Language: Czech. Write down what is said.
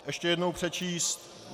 Ještě jednou přečíst?